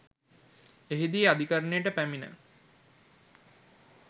එහිදී අධිකරණයට පැමිණ